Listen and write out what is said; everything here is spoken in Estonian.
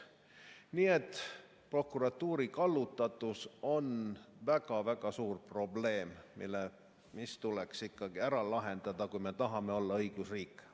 Nii et prokuratuuri kallutatus on väga-väga suur probleem, mis tuleks ära lahendada, kui me tahame olla õigusriik.